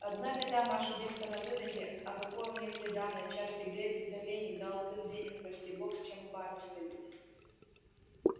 одна беда маша девка на выданье а какое у ней приданое частый гребень да веник да алтын денег прости бог с чем в баню сходить